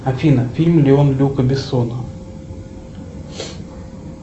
афина фильм леон люка бессона